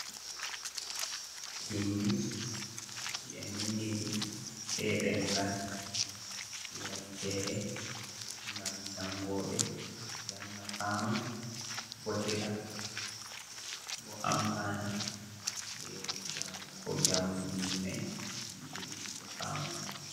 Bindi ɗi ɓe bindiri be demngal turancere gam jangoɓe janga fama, bottira, bo ampana be jamu ko jamu bindi mai yiɗiri himɓɓe fama.